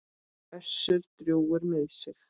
Össur drjúgur með sig.